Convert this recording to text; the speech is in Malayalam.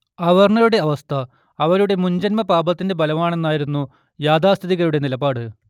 അവർണ്ണരുടെ അവസ്ഥ അവരുടെ മുജ്ജന്മപാപത്തിന്റെ ഫലമാണെന്നായിരുന്നു യാഥാസ്ഥിതികരുടെ നിലപാട്